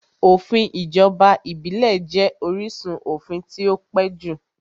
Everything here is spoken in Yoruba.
Òfin ìjọba ìbílẹ̀ jẹ́ orísun òfin tí ó pẹ́ jù